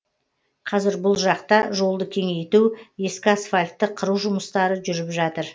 қазір бұл жақта жолды кеңейту ескі асфальтты қыру жұмыстары жүріп жатыр